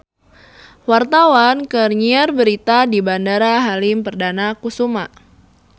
Wartawan keur nyiar berita di Bandara Halim Perdana Kusuma